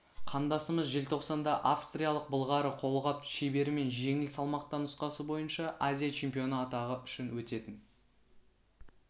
қандасымыз желтоқсанда австралиялық былғары қолғап шеберімен жеңіл салмақта нұсқасы бойынша азия чемпионы атағы үшін өтетін